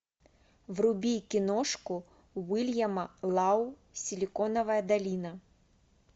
вруби киношку уильяма лау силиконовая долина